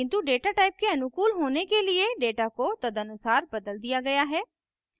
किन्तु data type के अनुकूल होने के लिए data को तदनुसार बदल दिया गया है